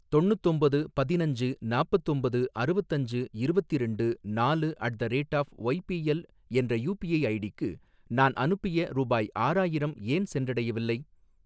தொண்ணுத்தொம்பது பதினஞ்சு நாப்பத்தொம்பது அறுவத்தஞ்சு இருவத்திரெண்டு நாலு at the rate of YBL என்ற யூபிஐ ஐடிக்கு நான் அனுப்பிய ரூபாய் ஆறாயிரம் ஏன் சென்றடையவில்லை?